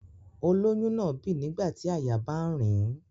Olóyún náà bì nígbà tí àyà bá ń rìn ín